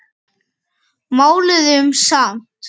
Máluðum samt.